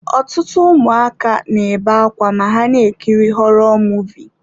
Ọtụtụ ụmụaka na-ebe akwa ma ha na-ekiri họrọ Muvịị.